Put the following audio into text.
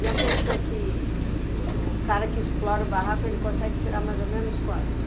E a pessoa que, que, o, o cara que explora o barraco, ele consegue tirar mais ou menos quanto?